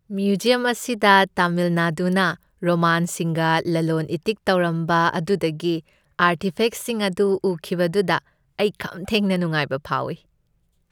Museum ꯑꯁꯤꯗ ꯇꯥꯃꯤꯜ ꯅꯥꯗꯨꯅ ꯔꯣꯃꯥꯟꯁꯤꯡꯒ ꯂꯂꯣꯟ ꯏꯇꯤꯛ ꯇꯧꯔꯝꯕ ꯑꯗꯨꯗꯒꯤ ꯑꯥꯔꯇꯤꯐꯦꯛꯁꯤꯡ ꯑꯗꯨ ꯎꯈꯤꯕꯗꯨꯗ ꯑꯩ ꯈꯝ ꯊꯦꯡꯅ ꯅꯨꯡꯉꯥꯏꯕ ꯐꯥꯎꯏ꯫